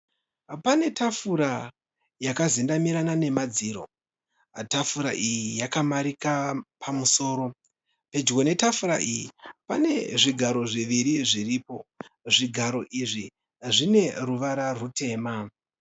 Pane tafura yakazendamirana nemadziro. Tafura iyi yakamarika pamusoro. Pedyo netafura iyi pane zvigaro zviviri zviripo. Zvigaro izvi zvine ruvara rutema.